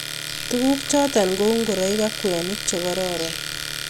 tuguk choton ko u ngoroik ak kwenik che kararan